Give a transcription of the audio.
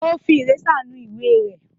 Ó fi ìrésà nu ìwé rẹ̀.